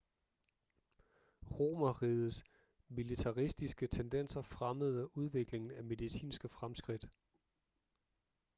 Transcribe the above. romerrigets militaristiske tendenser fremmede udviklingen af medicinske fremskridt